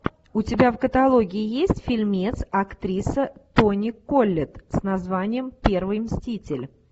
у тебя в каталоге есть фильмец актриса тони коллетт с названием первый мститель